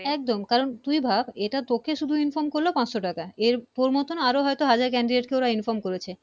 একদম কারন তুই ভাব এটা তোকে শুধু Inform করলো পাঁচশো টাকা এর তোর মত না আরো হাজার Candidate কে Inform করেছে